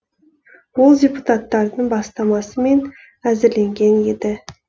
ол депуттатардың бастамасымен әзірленген еді